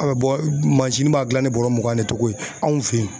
An bɛ bɔ, mansin b'a dilan ni bɔrɔ mugan ni togo ye anw fɛ yen.